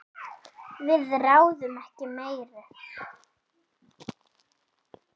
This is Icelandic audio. Við ráðum ekki meiru.